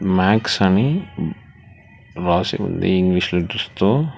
Max అని రాసి ఉంది ఇంగ్లీష్ తో.